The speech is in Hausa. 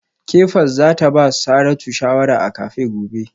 Kefas za ta ba Saratu shawara a cafe gobe